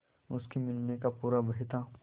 उसके मिलने का पूरा भय था